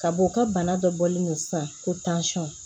Ka bɔ ka bana dɔ bɔlen don sisan ko